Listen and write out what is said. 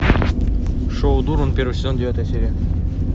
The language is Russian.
шоу дурман первый сезон девятая серия